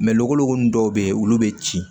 logoloko nunnu dɔw bɛ yen olu bɛ ci